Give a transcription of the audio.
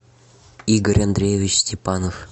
игорь андреевич степанов